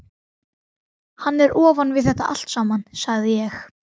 Hann er ofan við þetta allt saman, sagði ég.